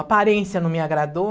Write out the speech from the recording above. A aparência não me agradou.